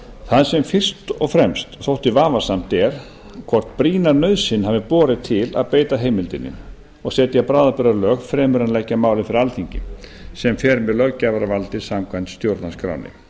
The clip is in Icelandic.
það sem fyrst og fremst þótti vafasamt er hvort brýna nauðsyn hafi borið til að beita heimildinni og setja bráðabirgðalög fremur en að leggja málið fyrir alþingi sem fer með löggjafarvaldið samkvæmt stjórnarskránni